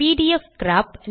பிடிஎஃப்கிராப்